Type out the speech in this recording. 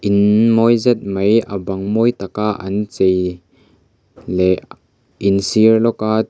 inn mawi zet mai a bang mawi taka chei leh in sir lawk a tui--